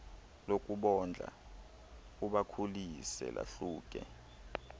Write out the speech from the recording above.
lokubondla ubakhulise lahluke